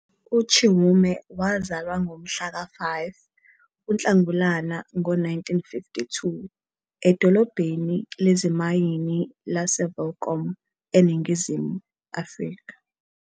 UChiume wazalwa ngo mhlaka-5 kuNhlangulana ngo-1952 edolobheni lezimayini laseWelkom, eNingizimu Afrika.